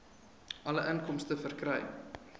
alle inkomste verkry